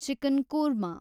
chicken korma